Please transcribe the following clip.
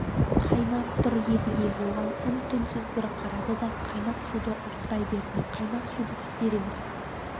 қайнап тұр едіге оған үн-түнсіз бір қарады да қайнақ суды ұрттай берді қайнақ суды сезер емес